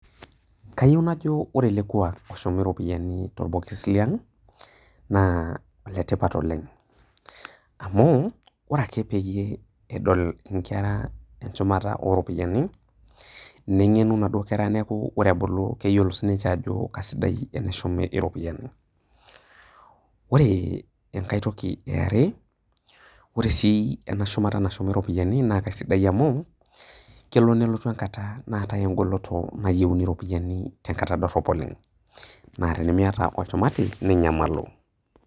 Kayou najo ore ele kuak oshumieki iropiani tolbokis le aang' naa ene tipat oleng', ore ake peyie edol inkera enchumata o ropiani, neng'enu naduo kera neyou neyioulou sininche ajo keaisidai teneshumi iropiani. Ore enkai toki e are, ore sii ena shumata nashumi iropiani naa aisidai amu, kelo nelotu enkata naatai engolon nalotu nayiouni iropiani tenkata dorop oleng'. Naa tenimiata oshumati ninyamalu.